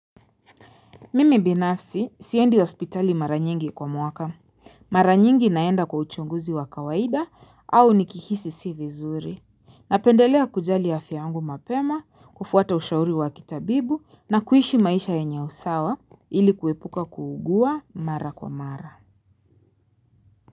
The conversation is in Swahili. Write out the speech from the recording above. Mimi binafsi siendi hospitali mara nyingi kwa mwaka. Mara nyingi naenda kwa uchunguzi wa kawaida au nikihisi siko vizuri. Napendelea kujali afya yangu mapema, kufuata ushauri wa kitabibu na kuishi maisha ya yenye usawa ili kuepuka kuugua mara kwa mara.